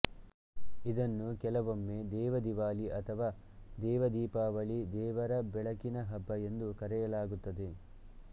ಇದನ್ನು ಕೆಲವೊಮ್ಮೆ ದೇವದಿವಾಲಿ ಅಥವಾ ದೇವದೀಪಾವಳಿ ದೇವರ ಬೆಳಕಿನ ಹಬ್ಬ ಎಂದು ಕರೆಯಲಾಗುತ್ತದೆ